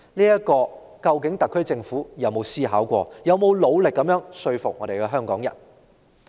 對此，究竟特區政府曾否思考過，曾否努力說服香港人？